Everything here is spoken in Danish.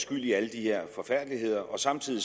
skyld i alle de her forfærdeligheder og samtidig